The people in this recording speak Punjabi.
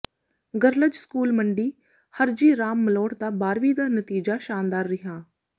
ਗਰਲਜ ਸਕੂਲ਼ ਮੰਡੀ ਹਰਜੀ ਰਾਮ ਮਲੋਟ ਦਾ ਬਾਰਵੀ ਦਾ ਨਤੀਜਾ ਸ਼ਾਨਦਾਰ ਰਿਹਾ